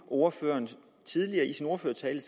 ordføreren tidligere i sin ordførertale